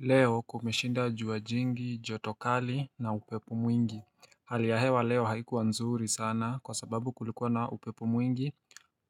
Leo kumeshinda jua jingi, joto kali na upepo mwingi. Hali ya hewa leo haikuwa nzuri sana kwa sababu kulikuwa na upepo mwingi